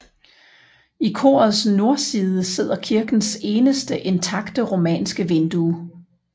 I korets nordside sidder kirkens eneste intakte romanske vindue